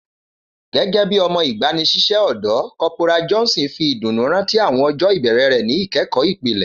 Gẹgẹbi ọmọ igbanisiṣẹ ọdọ, Corporal Johnson fi iduunu rántí awọn ọjọ ibẹrẹ rẹ ni ikẹkọ ipilẹ.